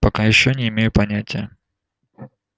пока ещё не имею понятия